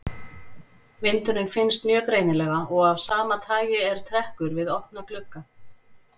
Vindurinn finnst mjög greinilega og af sama tagi er trekkur við opna glugga.